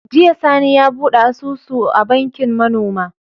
Jiya sani ya buɗe asusu a bankin ma noma